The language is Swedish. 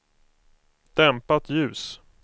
dämpat ljus